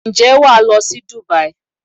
Ǹjẹ́ wà á lọ sí Dùbáí?